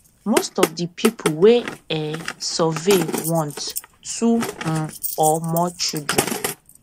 most of di pipo we um survey want two um or more children